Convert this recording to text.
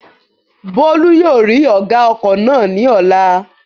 Bólú yóò rí ọ̀gá ọkọ̀ náà ní ọ̀la